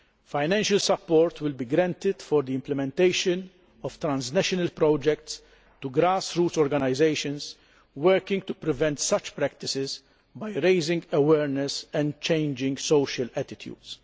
Financial support will be granted for the implementation of transnational projects to grass roots organisations working to prevent such practices by raising awareness and changing social attitudes.